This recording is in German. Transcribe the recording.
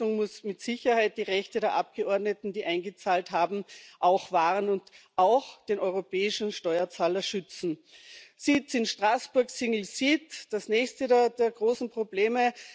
Die Lösung muss mit Sicherheit die Rechte der Abgeordneten, die eingezahlt haben, auch wahren und auch den europäischen Steuerzahler schützen. Sitz in Straßburg single seat das nächste der großen Probleme.